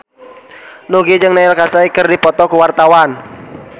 Nugie jeung Neil Casey keur dipoto ku wartawan